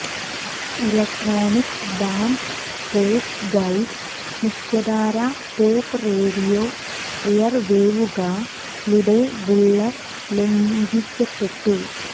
electronic dance pop guide മുഖ്യധാര pop radio എയർവേവുകളുടെ ബുള്ളർ ലംഘിക്കപ്പെട്ടു